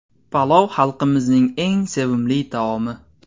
Palov xalqimizning eng sevimli taomi.